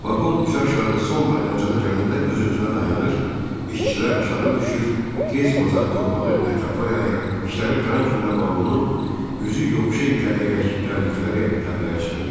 Vaqon üzüaşağı son dayanacağa gələndə öz-özünə dayanır, işçilər aşağı düşür, tez bazar torpağı ətrafa yayır, işləri qurtaran kimi də vaqonu üzü yoxuşa itələyərək gəldikləri təpəyə çıxırdılar.